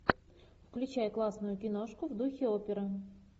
включай классную киношку в духе оперы